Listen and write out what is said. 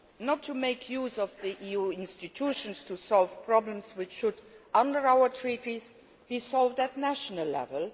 on you not to make use of the EU institutions to solve problems which should, under our Treaties, be solved at national